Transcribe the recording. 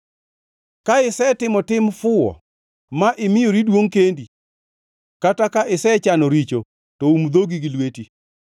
“Ka isetimo tim fuwo ma imiyori duongʼ kendi, kata ka isechano richo, to um dhogi gi lweti!